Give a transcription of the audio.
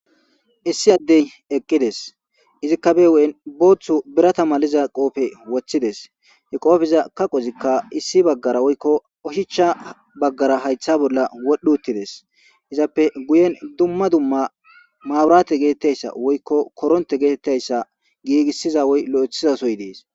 issi addey eqqides izikka bewu7en booththu birata maliza qoofe woththides hi qoofiza kaqozikka issi baggara woykko ohicha baggara haytha bolla wodhu uttides izappe guyen dumma dumma maaurate getettayssa woykko koronte geetettayssa giigissiza woy lo7ethizasoy dees